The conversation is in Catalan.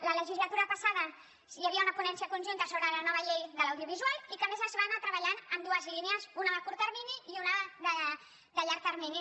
la legislatura passada hi havia una ponència conjunta sobre la nova llei de l’audiovisual que a més es va anar treballant en dues línies una de curt termini i una de llarg termini